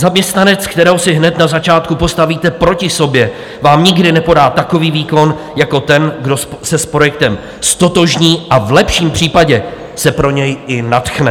Zaměstnanec, kterého si hned na začátku postavíte proti sobě, vám nikdy nepodá takový výkon jako ten, kdo se s projektem ztotožní a v lepším případě se pro něj i nadchne.